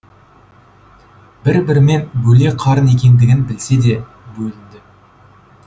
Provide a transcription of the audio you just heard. бір бірімен бөле қарын екендігін білсе де бөлінді